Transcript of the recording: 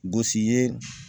Gosi yeee